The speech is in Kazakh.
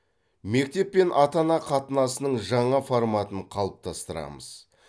мектеп пен ата ана қатынасының жаңа форматын қалыптастырамыз